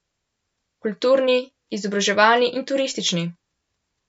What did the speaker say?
Kulturni, izobraževalni in turistični.